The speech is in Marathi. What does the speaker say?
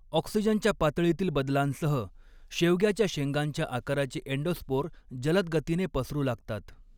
ऑक्सिजनच्या पातळीतील बदलांसह, शेवग्याच्या शेंगांच्या आकाराचे अँडोस्पोर जलद गतीने पसरू लागतात.